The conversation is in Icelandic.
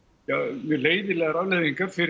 mjög leiðinlegar afleiðingar fyrir